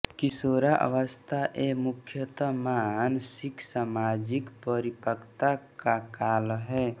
किशोरावस्था यह मुख्यतः मानसिकसामाजिक परिपक्वता का काल है